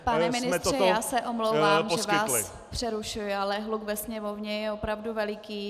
Pane ministře, já se omlouvám, že vás přerušuji, ale hluk ve sněmovně je opravdu veliký.